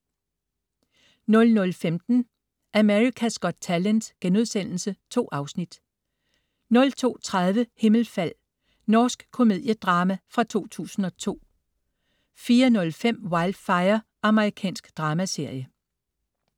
00.15 America's Got Talent.* 2 afsnit 02.30 Himmelfald. Norsk komediedrama fra 2002 04.05 Wildfire. Amerikansk dramaserie